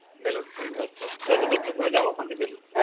বেলুড় থেকে ঘুরে আস্তে দক্ষিনেশ্বর যাবো